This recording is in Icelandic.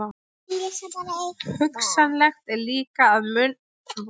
Hugsanlegt er líka, að mannvalið í nefndinni gefi ekki allskostar rétta vísbendingu um erindi hennar.